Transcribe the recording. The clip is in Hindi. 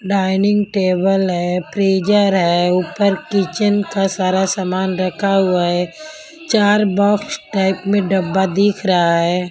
डाइनिंग टेबल है फ्रीजर है ऊपर किचन का सारा सामान रखा हुआ है चार बॉक्स टाइप में डब्बा दिख रहा है.